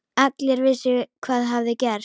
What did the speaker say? Allir vissu hvað hafði gerst.